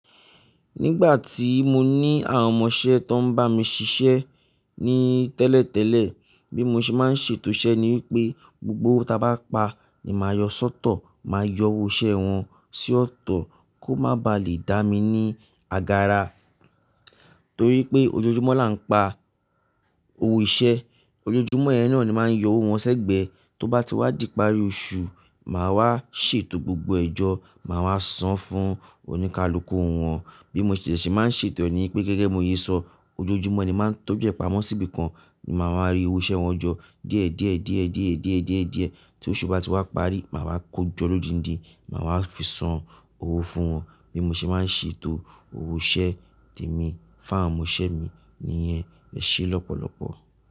Nígbà tí mo ní àwọn ọmọṣẹ́ tó ń bá mi ṣiṣẹ́ ní tẹ́lẹ̀tẹ́lẹ̀, bí mo ṣe máa ń ṣètò iṣẹ́ ni wípé gbogbo owo tá bá pa ni màá yọ sọ́tọ̀, màá yọ owó iṣẹ́ wọn sí ọ̀tọ̀ kó má ba à lè dá mi ní agara. Torí pé ojoojúmọ́ là ń pa owó iṣẹ́, ojoojúmọ́ yẹn ni máa ń yọ owó wọn sẹ́gbẹ̀ẹ́. Tó bá ti wá di ìparí oṣù, màá wá ṣètò gbogbo ẹjọ́, màá wá san fún oníkálukú wọn. Bí mo ṣe lè ṣe máa ń ṣètò ni wípé gẹ́gẹ́ bi mo sé sọ, ojoojúmọ́ ni máa ń tọ́jú ẹ̀ pamọ́ síbi kan ni màá máa rí owó iṣẹ́ wọn jọ díẹ̀ díẹ̀ díẹ̀ díẹ̀ díẹ̀ díẹ̀ díẹ̀. Tó oṣù bá ti wá parí, màá wá kó jọ lóndindi, màá wá fi san owó fún wọn. Bí mo ṣe máa ń ṣètò owó iṣẹ́ tèmi, fún àwọn ọmọṣẹ́ mi nìyẹn e ṣe lọ́pọ̀lọ́pọ̀